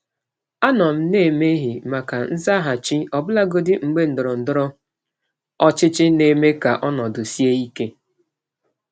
Ana m anọgide na-anabata nzaghachi, ọbụlagodi mgbe ndọrọndọrọ ụlọ ọrụ na-eme ka ọnọdụ sie ike.